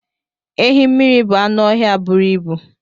Ehi mmiri bụ anụ ọhịa buru ibu.